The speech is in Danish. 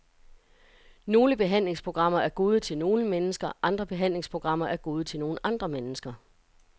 Nogle behandlingsprogrammer er gode til nogle mennesker, andre behandlingsprogrammer er gode til nogle andre mennesker.